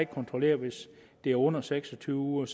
kontrollere hvis det er under seks og tyve uger